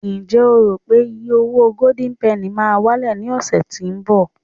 njé o ro wipe iye owo golden penny ma wale ni ọsẹ tínbọ̀